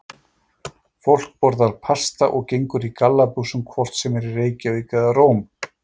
Fólk borðar pasta og gengur í gallabuxum hvort sem er í Reykjavík eða Róm.